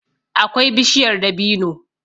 akwai bishiyar dabino.